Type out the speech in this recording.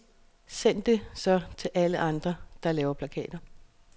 Send det så til alle andre, der laver plakater.